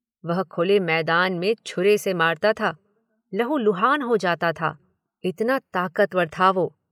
वह खुले मैदान में छुरे से मारता था, लहूलुहान हो जाता था। इतना ताकतवर था वो।